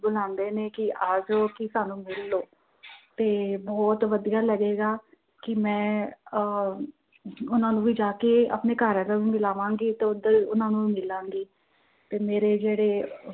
ਆਂਦੇ ਨੇ ਕਿ ਆ ਜੋ ਕੀ ਸਾਨੂੰ ਮਿਲ ਲਉ। ਤੇ ਬਹੁਤ ਵਧੀਆ ਲੱਗੇਗਾ ਕਿ ਮੈਂ ਆਹ ਉਹਨਾਂ ਨੂੰ ਜਾ ਕਿ ਆਪਣਾ ਘਰਵਾਲਾ ਵੀ ਮਿਲਾਵਾਂਗੀ ਤੇ ਉਧਰ ਉਹਨਾਂ ਨੂੰ ਵੀ ਮਿਲਾਂਗੀ, ਤੇ ਮੇਰੇ ਜਿਹੜੇ